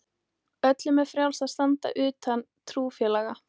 Öllum er frjálst að standa utan trúfélaga.